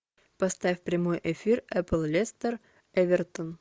поставь прямой эфир апл лестер эвертон